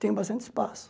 Tem bastante espaço.